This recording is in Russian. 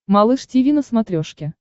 малыш тиви на смотрешке